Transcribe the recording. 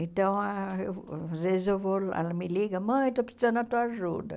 Então, ah às vezes eu vou lá, ela me liga, mãe, estou precisando da tua ajuda.